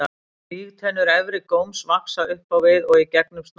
Vígtennur efri góms vaxa upp á við og í gegnum snoppuna.